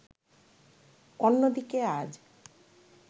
অন্যদিকে আজ